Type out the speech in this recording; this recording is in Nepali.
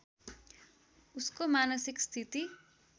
उसको मानसिक स्थिति